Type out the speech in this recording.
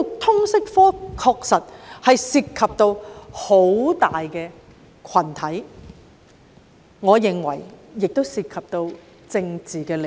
通識科確實涉及很大的群體，而我認為當中更涉及政治利益。